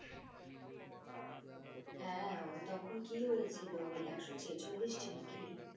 হ্যাঁ হ্যাঁ তখন কি হয়েছিল ওই একশো ছেচল্লিশটি নাকি